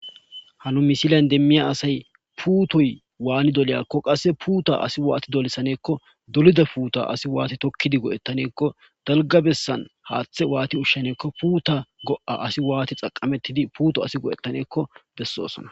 Hanu misilayn demmiya asay puutoy waani doliyakko qasse puuta asi waati dolisaneekko dolida puuta asi waati tokkidi go'ettaneekko dalga bessan haaththe waati ushshaneekko puuta go'a asi waati xaqamettidi puuto asi go'ettaneekko bessosona.